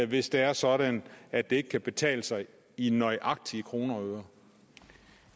hvis det er sådan at det ikke kan betale sig i nøjagtige kroner og